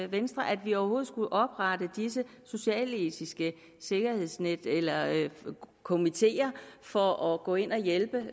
venstre at vi overhovedet skulle oprette disse socialetiske sikkerhedsnet eller komiteer for at gå ind og hjælpe